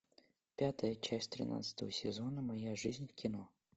пятая часть тринадцатого сезона моя жизнь в кино